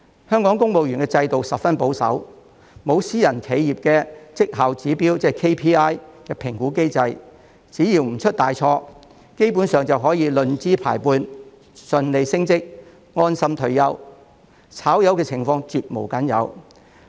香港公務員制度十分保守，沒有私人企業的績效指標評估機制，只要不出大錯，基本上便可以論資排輩順利升職，安心退休，"炒魷"的情況絕無僅有。